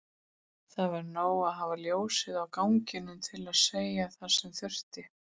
Það var nóg að hafa ljósið á ganginum til að segja það sem þurfti.